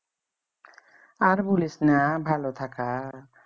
আর বুলিসনা ভালো থাকার